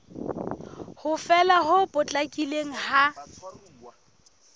ho fela ho potlakileng ha